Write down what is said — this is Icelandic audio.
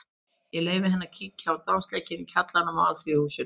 Ég leyfði henni að kíkja á dansleik í kjallaranum í Alþýðuhúsinu.